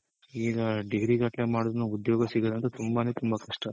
ಈಗ degree ಗಟ್ಲೆ ಮಾಡಿದ್ರುನು ಉದ್ಯೋಗ ಸಿಗೊದೊಂತು ತುಂಬಾನೇ ತುಂಬಾ ಕಷ್ಟ